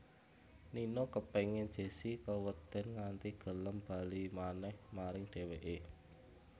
Nino kepéngin Jessi kewedèn nganti gelem bali manèh maring dhèwèké